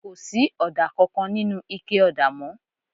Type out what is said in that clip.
Kò sí ọ̀dà kankan nínú ike ọ̀dà mọ́